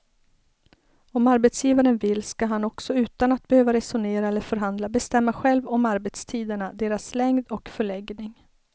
Om arbetsgivaren vill ska han också utan att behöva resonera eller förhandla bestämma själv om arbetstiderna, deras längd och förläggning.